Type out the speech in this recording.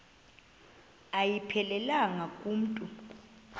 ayiphelelanga ku mntu